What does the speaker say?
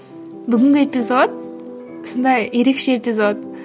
бүгінгі эпизод сондай ерекше эпизод